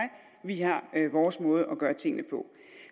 vi har vores måde at gøre tingene på